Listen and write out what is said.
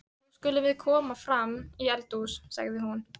Nú skulum við koma fram í eldhús, sagði hún.